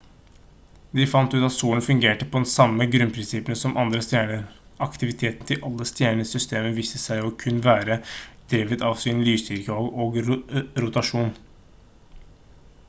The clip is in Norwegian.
de fant ut at solen fungerte på de samme grunnprinsippene som andre stjerner aktiviteten til alle stjerner i systemet viste seg å kun være drevet av sin lysstyrke og rotasjon